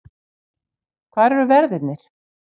Hvar eru verðirnir?